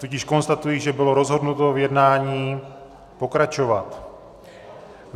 Tudíž konstatuji, že bylo rozhodnuto v jednání pokračovat.